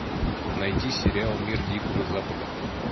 найти сериал мир дикого запада